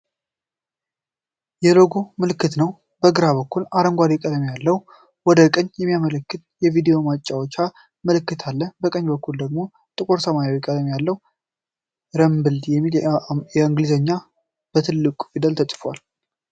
የሎጎ ምልክት ነው፣ በግራ በኩል አረንጓዴ ቀለም ያለው ወደ ቀኝ የሚያመለክት የቪዲዮ ማጫወቻ ምልክት አለ። በቀኝ በኩል ደግሞ ጥቁር ሰማያዊ ቀለም ያለው "ረምብል" የሚል ቃል በእንግሊዝኛ በትልቁ ፊደል ተጽፏል።